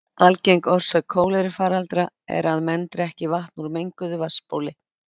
Algeng orsök kólerufaraldra er að menn drekki vatn úr menguðu vatnsbóli.